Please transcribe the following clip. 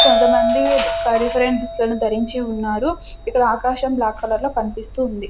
కొంతమంది ఫ్రెండ్స్ దుస్తులను ధరించి ఉన్నారు ఇక్కడ ఆకాశం బ్లాక్ కలర్లో కన్పిస్తూ ఉంది.